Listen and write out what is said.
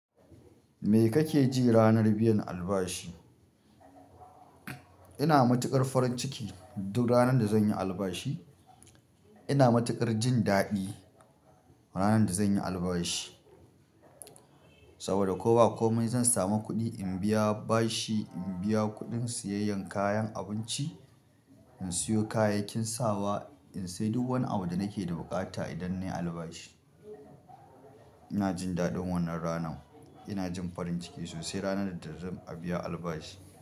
Me kake ji ranar biyan albashi? Ina matuƙar farin ciki duk ranar da zan yi albashi ina matuƙar jin daɗi ranar da zan yi albashi, saboda ko ba komai zan samu kuɗi in biya bashi, in biya kuɗin siyayyan kayan abinci, in siyo kayayyakin sawa, in sayi duk wani abu da nake da buƙata idan na yi albashi. Ina jin daɗin wannan ranar. Ina jin farin ciki sosai ranar da zan biya albashi.